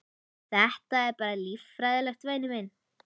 Þetta er bara líffræðilegt, væni minn.